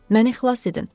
Məni xilas edin!